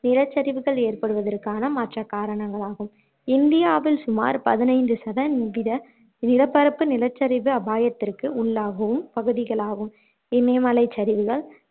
நிலச்சரிவுகள் ஏற்படுவதற்கான மற்ற காரணங்களாகும் இந்தியாவில் சுமார் பதினைந்து சதன்வீத நிலப்பரப்பு நிலச்சரிவு அபாயத்திற்கு உள்ளாகும் பகுதிகளாகும் இமயமலைச் சரிவுகள்